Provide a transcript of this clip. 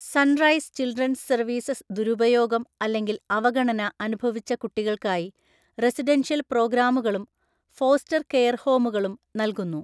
Sunrise Children's Services ദുരുപയോഗം അല്ലെങ്കിൽ അവഗണന അനുഭവിച്ച കുട്ടികൾക്കായി റെസിഡൻഷ്യൽ പ്രോഗ്രാമുകളും ഫോസ്റ്റർ കെയർ ഹോമുകളും നൽകുന്നു.